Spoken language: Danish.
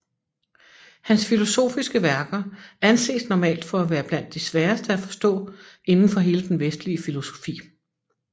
Hans filosofiske værker anses normalt for at være blandt de sværeste at forstå inden for hele den vestlige filosofi